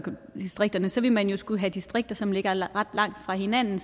distrikterne så ville man jo skulle have distrikter som ligger ret langt fra hinanden